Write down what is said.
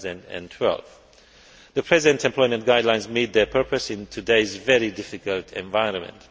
for 2012. The present employment guidelines meet their purpose in today's very difficult economic environment.